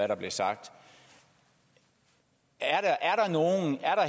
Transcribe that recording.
der blev sagt er der